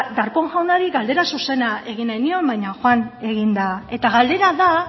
darpón jaunari galdera zuzena egin nahi nion baina joan egin da eta galdera da